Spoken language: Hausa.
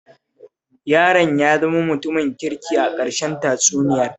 Yaron ya zama mutumin kirki a ƙarshen tatsuniyar